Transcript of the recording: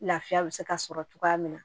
Lafiya bɛ se ka sɔrɔ cogoya min na